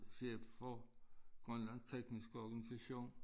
Chef for Grønlands tekniske organsation